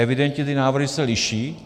Evidentně ty návrhy se liší.